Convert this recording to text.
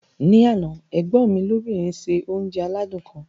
Ní àná, ẹ̀gbọ́n mi lóbìnrin ṣe oúnjẹ aládìídùn kan.